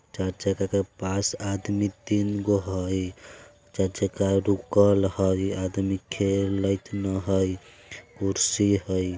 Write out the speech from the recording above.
चाचा के के पास आदमी तीन गो हय चाचा कार रुकल हय आदमी खेलेत न हय कुर्सी हय।